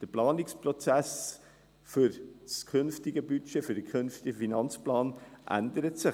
Der Planungsprozess für das künftige Budget, für den künftigen Finanzplan, ändert sich.